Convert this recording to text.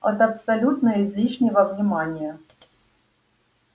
от абсолютно излишнего внимания